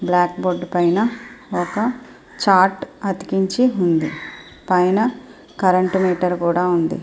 Black board పైన ఒక chart అతికించి ఉంది. పైన కరెంటు మీటర్ కూడా ఉంది.